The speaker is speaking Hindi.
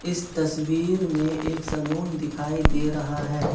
इस तस्वीर में एक सलून दिखाई दे रहा है।